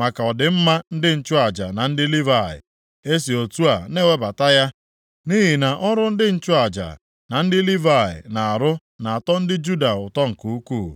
maka ọdịmma ndị nchụaja na ndị Livayị. E si otu a na-ewebata ya nʼihi na ọrụ ndị nchụaja na ndị Livayị na-arụ na-atọ ndị Juda ụtọ nke ukwuu.